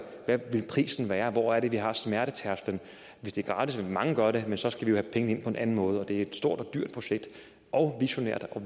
er det prisen værd hvor er det vi har smertetærsklen hvis det er gratis vil mange gøre det men så skal vi jo have pengene ind på en anden måde det er et stort og dyrt projekt og visionært og